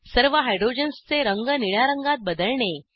सर्व हायड्रोजन्सचे रंग निळ्या रंगात बदलणे